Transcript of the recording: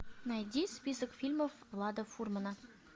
найди список фильмов влада фурмана